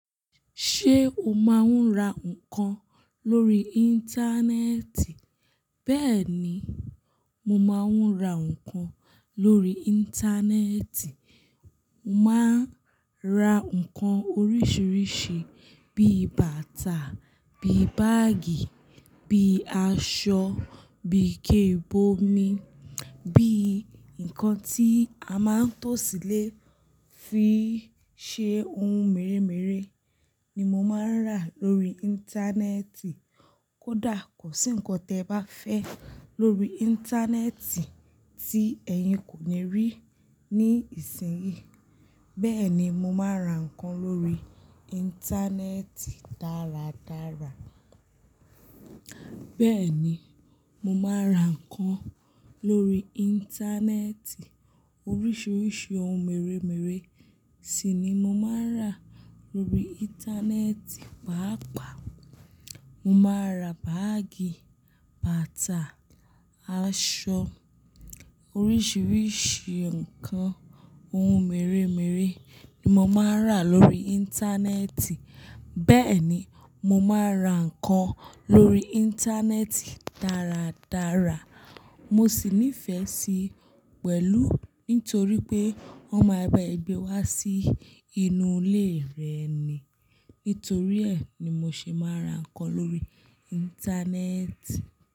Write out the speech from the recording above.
Ṣé o máa ń ra nǹkan lórí Íńtánẹ́ẹ̀tì? Bẹ́ẹ̀ ni, mo máa ń ra nǹkan lórí Íńtánẹ́ẹ̀tì. Mo máa ń ra nǹkan oríṣiríṣi bí i bàtà, bí i báágì, bí i aṣọ, bí i ike ìbomi, bí i nǹkan tí a máa ń tò sílé fi ṣe ohun mèremère ni mo máa ń rà lórí Íńtánẹ́ẹ̀tì. Kódà kò sí nǹkan tẹ ba fẹ́ lórí Íńtánẹ́ẹ̀tì tí ẹ̀yin kò ní rí ní ìsìnyí. Bẹ́ẹ̀ ni, mo máa ra nǹkan lórí Íńtánẹ́ẹ̀tì dáradára. Bẹ́ẹ̀ ni, mo máa ra nǹkan lórí Íńtánẹ́ẹ̀tì. Oríṣiríṣi ohun mèremère sì ni mo máa ń rà lórí Íńtánẹ́ẹ̀tì pàápàá. Mo máa ra báágì, bàtà, aṣọ, oríṣiríṣi nǹkan ohun mèremère ni mo máa ń rà lórí Íńtánẹ́ẹ̀tì. Bẹ́ẹ̀ ni, mo máa ra nǹkan lórí Íńtánẹ́ẹ̀tì dáradára. Mo sì nífẹ̀ẹ́ sí pẹ̀lú nítorí pé wọ́n máa bá ẹ gbé wá sí inú ilé rẹ ni. Nítorí ẹ ni mo ṣe máa ra nǹkan lórí Íńtánẹ́ẹ̀tì.